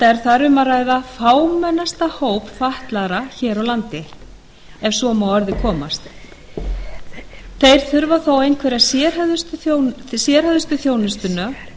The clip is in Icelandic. enda er þar um að ræða fámennasta hóp fatlaðra hér á landi ef svo má að orði komast þeir þurfa þó einhverja sérhæfðustu þjónustuna